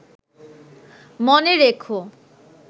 মনে রেখো